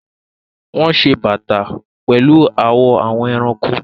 Wọn ṣe awọn bata pẹlu awọn awọ ẹranko.